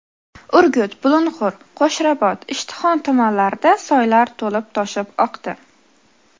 Urgut, Bulung‘ur, Qo‘shrabot, Ishtixon tumanlarida soylar to‘lib-toshib oqdi.